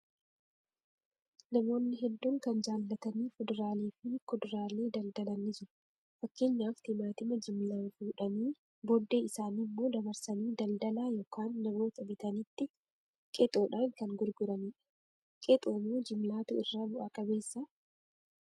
Namoonni hedduun kan jaallatanii fuduraalee fi kuduraalee daldalan ni jiru. Fakkeenyaaf timaatima jimlaan fuudhanii booddee isaanimmoo dabarsanii daldalaa yookaan namoota bitanitti qexoodhaan kan gurguranidha. Qexoo moo jimlaatu irra bu'a qabeessaa?